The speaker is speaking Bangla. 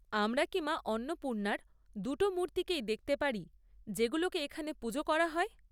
আমরা কি মা অন্নপূর্ণার দুটো মূর্তিকেই দেখতে পারি, যেগুলোকে এখানে পুজো করা হয়?